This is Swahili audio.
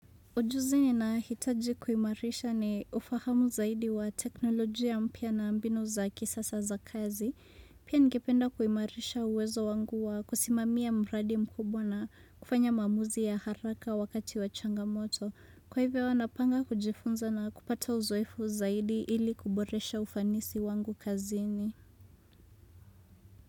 Ujuzi ninahitaji kuimarisha ni ufahamu zaidi wa teknolojia mpya na mbinu za kisasa za kazi, pia ningependa kuimarisha uwezo wangu wa kusimamia mradi mkubwa na kufanya maamuzi ya haraka wakati wa changamoto. Kwa hivyo napanga kujifunza na kupata uzoefu zaidi ili kuboresha ufanisi wangu kazini.